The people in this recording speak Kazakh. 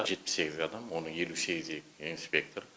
жетпіс сегіз адам оның елу сегізі инспектор